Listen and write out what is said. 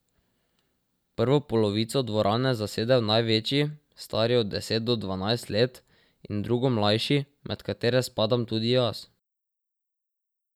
Prvo polovico dvorane zasedejo največji, stari od deset do dvanajst let, in drugo mlajši, med katere spadam tudi jaz.